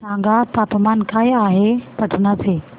सांगा तापमान काय आहे पाटणा चे